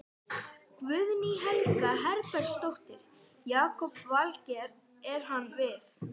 Guðný Helga Herbertsdóttir: Jakob Valgeir, er hann við?